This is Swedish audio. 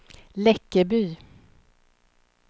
Läckeby